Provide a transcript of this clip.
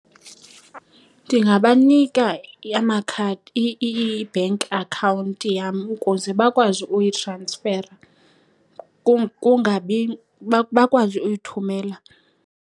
Ndingabanika amakhadi, i-bank account yam ukuze bakwazi uyitransfera , bakwazi uyithumela.